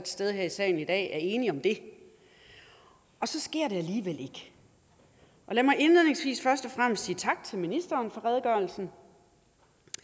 stede her i salen i dag er enige om det og så sker det alligevel ikke lad mig indledningsvis først og fremmest sige tak til ministeren for redegørelsen